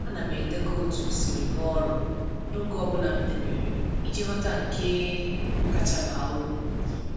A na m edekọ otu m si rụọ ọrụ n’oge ọ bụla m debere iji ghọta nke kacha baa uru.